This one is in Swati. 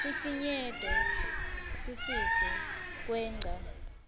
sifinyeto sisidze kwengca